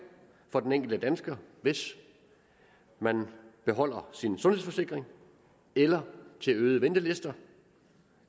for den enkelte dansker hvis man beholder sin sundhedsforsikring eller til øgede ventelister